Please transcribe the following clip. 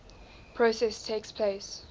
process takes place